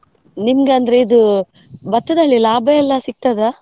ನಿಮಗೆ ಅಂದ್ರೆ ಇದು ಭತ್ತದಲ್ಲಿ ಲಾಭ ಎಲ್ಲ ಸಿಗ್ತದಾ?